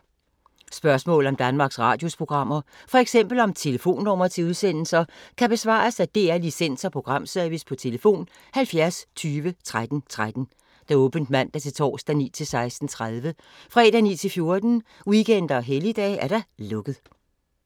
Spørgsmål om Danmarks Radios programmer, f.eks. om telefonnumre til udsendelser, kan besvares af DR Licens- og Programservice: tlf. 70 20 13 13, åbent mandag-torsdag 9.00-16.30, fredag 9.00-14.00, weekender og helligdage: lukket.